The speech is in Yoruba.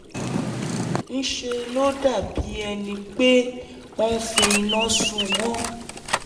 ńṣe ló dàbí ẹni pé wọ́n fi iná sun wọ́n